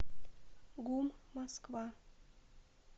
гум москва